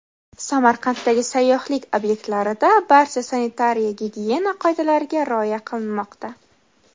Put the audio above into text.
Samarqanddagi sayyohlik obyektlarida barcha sanitariya-gigiyena qoidalariga rioya qilinmoqda.